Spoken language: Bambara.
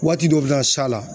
Waati dɔ bɛ na s'a la